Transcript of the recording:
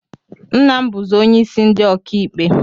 Nna m bụzị onyeisi ndi ọkaikpe